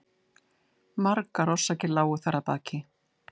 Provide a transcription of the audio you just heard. Margar orsakir lágu þar að baki.